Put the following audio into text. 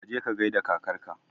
Kaje ka gaida kakarka